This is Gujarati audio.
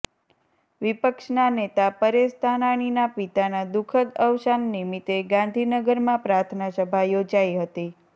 વિપક્ષના નેતા પરેશ ધાનાણીના પિતાના દુઃખદ અવસાન નિમિત્તે ગાંધીનગરમાં પ્રાર્થના સભા યોજાઈ હતી